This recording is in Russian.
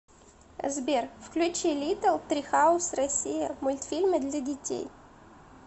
сбер включи литтл трихаус россия мультфильмы для детей